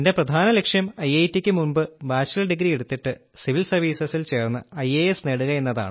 എന്റെ പ്രധാന ലക്ഷ്യം ഐഐറ്റിയ്ക്കു മുമ്പ് ബാച്ച്ലർ ഡിഗ്രി എടുത്തിട്ട് സിവിൽ സർവ്വീസസിൽ ചേർന്ന് ഐഎഎസ് നേടുകയെന്നതാണ്